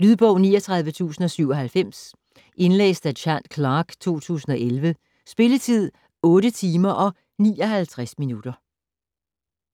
Lydbog 39097 Indlæst af Chad Clark, 2011. Spilletid: 8 timer, 59 minutter.